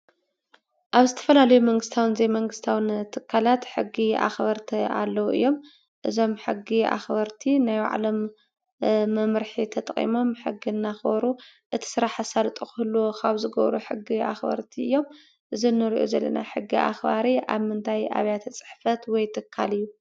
አብ ዝተፈላለዩ መንግስታውን ዘይመንግስታውን ትካላት ሕጊ ኣክበርቲ አለው እዮም። እዞም ሕጊ ኣክበርቲ ናይ ባዕሎም መምርሒ ተጠቂሞም ሕጊ እናክበሩ እቲ ስራሕ አሳልጦ ክህልዎ ካብ ዝገብሩ ሕጊ ኣክበርቲ እዮም። እዚ ንሪኦ ዘለና ሕጊ ኣክባሪ አብ ምንታይ ኣብያተ ፅሕፈት ወይ ትካል እዩ?